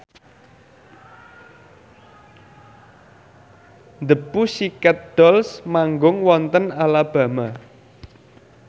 The Pussycat Dolls manggung wonten Alabama